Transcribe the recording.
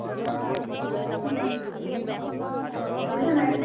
উম । পঢ়িছ নাই?